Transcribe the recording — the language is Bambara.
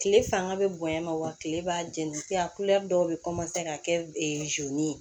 Kile fanga be bonya ma wa kile b'a jɛni kɛ a dɔw bɛ ka kɛ ye